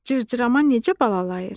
Cırcırama necə balalayır?